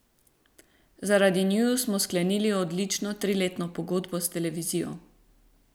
Zaradi njiju smo sklenili odlično triletno pogodbo s televizijo.